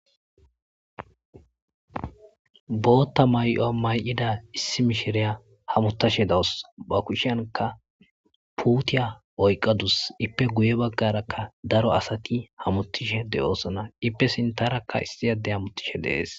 bootta may7o may7ida issi mishiriya hamutashe dawus ba kushanka puutiya oyqadus ippe guye baggarakka daro asati hamutishe de7osona ippe sintarakka issiyade hamutishe deees